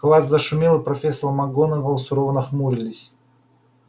класс зашумел и профессор макгонагалл сурово нахмурились